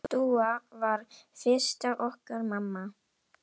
Dúa varð fyrst okkar mamma.